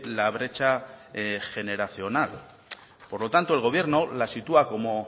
la brecha generacional por lo tanto el gobierno la sitúa como